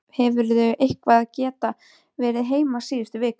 Berghildur: Hefurðu eitthvað geta verið heima síðustu vikur?